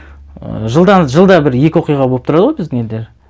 ы жылдан жылда бір екі оқиға болып тұрады ғой біздің елде